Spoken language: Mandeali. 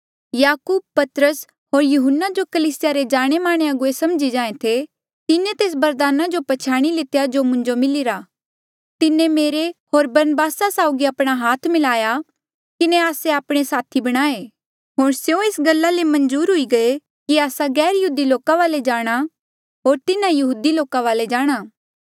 याकूब पतरस होर यहून्ना जो कलीसिया रे जाणेमाने अगुवे समझी जाहें थे तिन्हें तेस बरदाना जो पछयाणी लितेया जो मुंजो मिलिरा तिन्हें मेरे होर बरनबास साउगी आपणा हाथ मलाई किन्हें आस्से आपणे साथी बणाये होर स्यों एस गल्ला ले मंजूर हुई गये कि आस्सा गैरयहूदी लोका वाले जाणा होर तिन्हा यहूदी लोका वाले जाणा